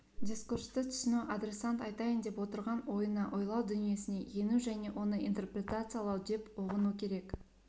дискурсты түсіну адресант айтайын деп отырған ойына ойлау дүниесіне ену және оны интерпретациялау деп ұғыну керек